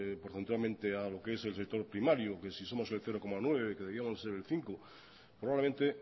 porcentualmente a lo que es el sector primario que si somos el cero coma nueve que deberíamos ser el cinco probablemente